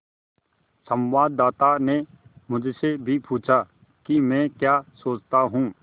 संवाददाता ने मुझसे भी पूछा कि मैं क्या सोचता हूँ